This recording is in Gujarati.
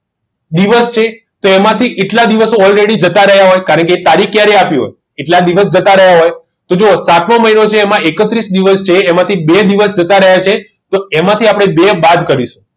દિવસ છે તેમાંથી એટલા દિવસ already જતા રહ્યા હોય કારણ કે તે તારીખ ક્યારે આપી હોય કેટલા દિવસ જતા રહ્યા હોય તો જુઓ સાતમો મહિનો છે એમાં એકત્રીસ દિવસ છે એમાંથી બે દિવસ જતા રહ્યા છે તો એમાંથી આપણે બે બાદ કરીશું